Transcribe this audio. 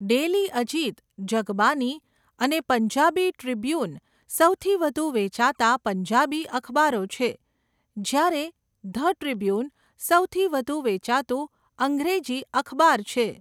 Daily Ajit, Jagbani અને Punjabi Tribune સૌથી વધુ વેચાતા પંજાબી અખબારો છે, જ્યારે ધ ટ્રિબ્યુન સૌથી વધુ વેચાતું અંગ્રેજી અખબાર છે.